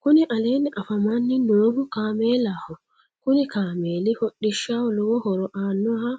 Kuni aleenni afamanni noohu kaameelaho kuni kaameeli hodhishshaho lowo horo aannoho